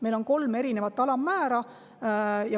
Meil on kolm alammäära.